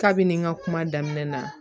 Kabini n ka kuma daminɛ na